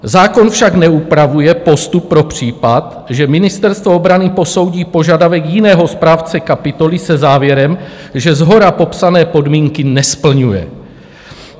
Zákon však neupravuje postup pro případ, že Ministerstvo obrany posoudí požadavek jiného správce kapitoly se závěrem, že shora popsané podmínky nesplňuje.